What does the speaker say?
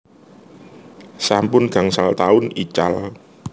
Sampun gangsal taun ical